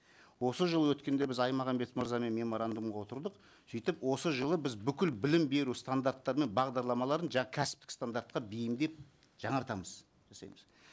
осы жылы өткенде біз аймағамбетов мырзамен меморандумға отырдық сөйтіп осы жылы біз бүкіл білім беру стандарттары мен бағдарламаларын кәсіптік стандартқа бейімдеп жаңартамыз жасаймыз